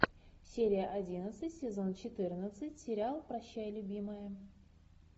серия одиннадцать сезон четырнадцать сериал прощай любимая